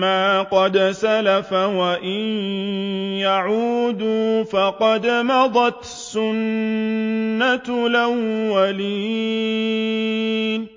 مَّا قَدْ سَلَفَ وَإِن يَعُودُوا فَقَدْ مَضَتْ سُنَّتُ الْأَوَّلِينَ